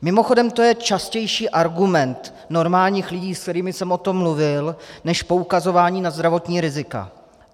Mimochodem, to je častější argument normálních lidí, se kterými jsem o tom mluvil, než poukazování na zdravotní rizika.